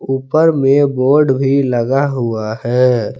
ऊपर में बोर्ड भी लगा हुआ है।